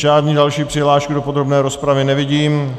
Žádnou další přihlášku do podrobné rozpravy nevidím.